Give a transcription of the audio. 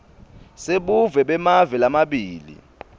sebuve bemave lamabili